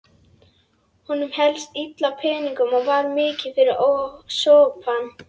Honum hélst illa á peningum og var mikið fyrir sopann.